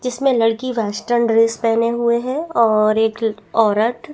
जिसमे लड़की western dress पहने हुए है और एक औरत --